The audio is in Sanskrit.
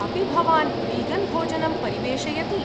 अपि भवान् वीगन्भोजनं परिवेषयति?